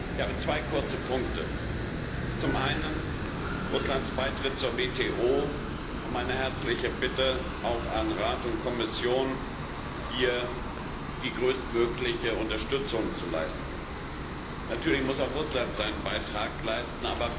Ich habe zwei kurze Punkte Russlands Beitritt zur WTO und meine herzliche Bitte, auch an Rat und Kommission, hier die größtmögliche Unterstützung zu leisten. Natürlich muss auch Russland seinen Beitrag leisten.